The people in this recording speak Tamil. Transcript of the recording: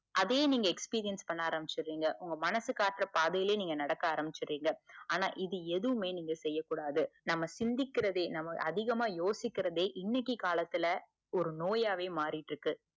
அதே நீங்க experience பண்ண ஆரம்பிச்சிடுவீங்க உங்க மனசு காட்டற பாதையிலையே நீங்க நடக்க ஆரம்பிச்சுடுவீங்க. ஆனா, இது எதுமே நீங்க செய்ய கூடாது நம்ம சிந்திக்கிறதே நாம அதிகமா யோசிக்கிறதே இன்னிக்கி காலத்துல ஒரு நோயாவே மாறிகிட்டு இருக்குது.